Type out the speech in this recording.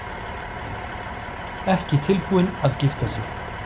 Ekki tilbúin til að gifta sig